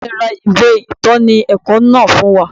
Bàbá mi ra ìwé ìtọ́ni ẹ̀kọ́ náà fún wa